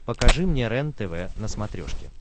покажи мне рентв на смотрешке